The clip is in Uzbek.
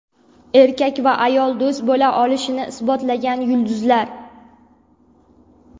Erkak va ayol do‘st bo‘la olishini isbotlagan yulduzlar.